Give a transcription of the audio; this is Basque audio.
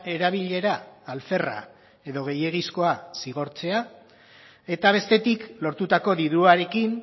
erabilera alferra edo gehiegizkoa zigortzea eta bestetik lortutako diruarekin